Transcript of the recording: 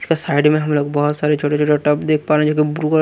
इसका साइड में हम लोग बहुत सारे छोटे-छोटे टब देख पा रहे हैं जोकि ब्लू कलर --